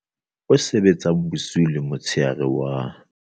O sebetsang bosiu le motshehare wa